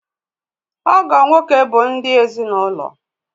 Ọgọ nwoke bụ ndị ezinaụlọ.